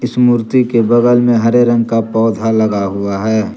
मूर्ति के बगल में हरे रंग का पौधा लगा हुआ है।